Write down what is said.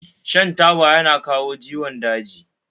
Shan taba yana kawo ciwon daji